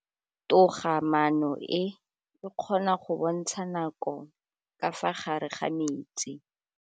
Toga-maanô e, e kgona go bontsha nakô ka fa gare ga metsi.